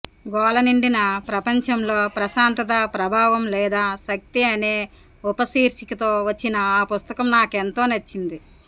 గోల నిండిన ప్రపంచంలో ప్రశాంతత ప్రభావం లేదా శక్తి అనే ఉపశీర్షికతో వచ్చిన ఆ పుస్తకం నాకెంతో నచ్చింది